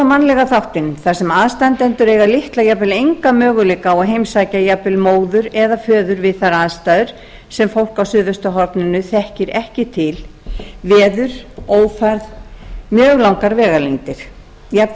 mannlega þáttinn þar sem aðstandendur eiga litla eða jafnvel enga möguleika á að heimsækja jafnvel móður eða föður við þær aðstæður sem fólk á suðvesturhorninu þekkir ekki til veður ófærð mjög langar vegalengdir jafnvel